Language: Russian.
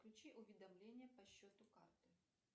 включи уведомление по счету карты